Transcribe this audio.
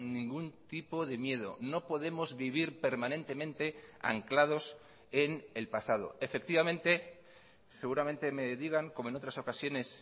ningún tipo de miedo no podemos vivir permanentemente anclados en el pasado efectivamente seguramente me digan como en otras ocasiones